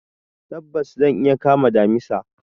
Tabbas! zan iya kama damisa.